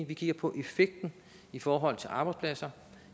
vi kigger på effekten i forhold til arbejdspladser